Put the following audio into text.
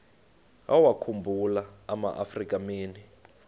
wawakhumbul amaafrika mini